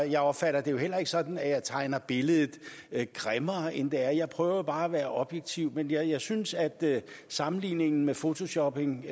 jeg opfatter det jo heller ikke sådan at jeg tegner billedet grimmere end det er jeg prøver bare at være objektiv men jeg synes at sammenligningen med photoshopping